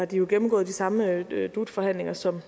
dem gennemgået de samme dut forhandlinger som